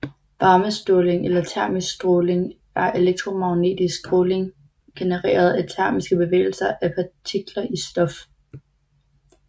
Varmeståling eller termisk stråling er elektromagnetisk stråling genereret af termiske bevægelse af partikler i stof